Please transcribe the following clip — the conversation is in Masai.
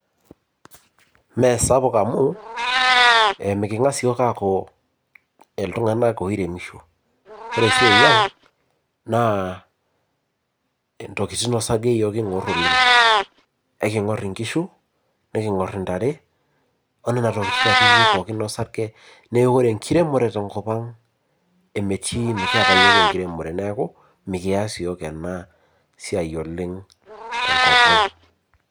Mee sapuk amu meking'as iyiok aaku iltung'anak oiremisho. Ore esiai ang' naa intokiting osarge iyiok kiing'urr oleng. Aiking'urr inkishu, nekiing'urr intare o nena tokiting akeyie pookin osarge. Neeku ore enkiremore tenkopang metii, mekiata iyiok enkiremore neeku mekias iyiok ena siai oleng tenkopang